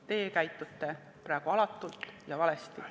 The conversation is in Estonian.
Teie käitute praegu alatult ja valesti.